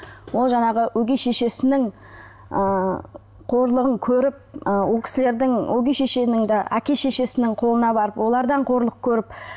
ол жаңағы өгей шешесінің ыыы қорлығын көріп ы ол кісілердің өгей шешенің де әке шешесінің қолына барып олардан қорлық көріп